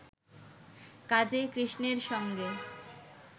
কাজেই কৃষ্ণের সঙ্গে